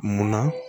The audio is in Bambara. Munna